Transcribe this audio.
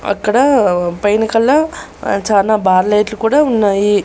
అక్కడ పైన కళ్ళ ఆ చానా బార్ లైట్లు కూడా ఉన్నాయి.